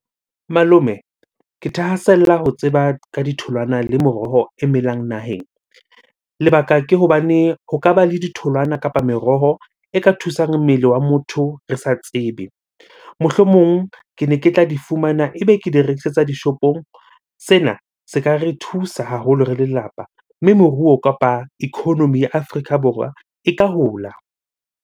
Malome, ke thahasella ho tseba ka ditholwana le meroho e melang naheng. Lebaka ke hobane ho ka ba le ditholwana kapa meroho e ka thusang mmele wa motho re sa tsebe. Mohlomong kene ke tla di fumana, ebe ke di rekisetsa dishopong. Sena se ka re thusa haholo re lelapa, mme moruo kapa economy ya Afrika Borwa e ka hola.